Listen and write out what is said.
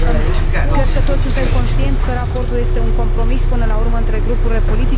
Cred că toți suntem conștienți că raportul este un compromis până la urmă între grupurile politice.